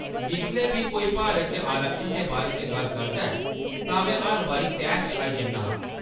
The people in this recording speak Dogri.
जिसलै बी कोई भारत च आरक्षण दे बारे च गल्ल करदा ऐ तां में हर बारी तैश च आई जन्ना आं।